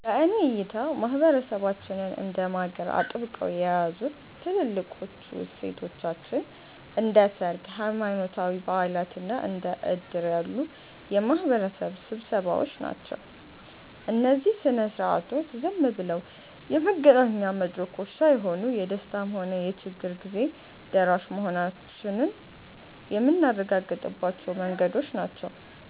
በእኔ እይታ ማህበረሰባችንን እንደ ማገር አጥብቀው የያዙት ትልልቆቹ እሴቶቻችን እንደ ሰርግ፣ ሃይማኖታዊ በዓላት እና እንደ ዕድር ያሉ የማህበረሰብ ስብሰባዎች ናቸው። እነዚህ ሥነ ሥርዓቶች ዝም ብለው የመገናኛ መድረኮች ሳይሆኑ፣ የደስታም ሆነ የችግር ጊዜ ደራሽ መሆናችንን የምናረጋግጥባቸው መንገዶች ናቸው።